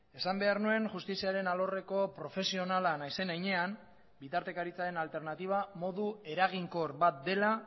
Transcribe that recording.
esan behar nuen justiziaren alorreko profesionala naizen heinean bitartekaritzaren alternatiba modu eraginkor bat dela